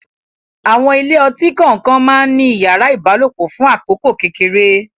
Àwọn ilé ọtí kọ̀ọ̀kan má ń ní yàrá ìbálòpọ̀ fún àkókò kékeré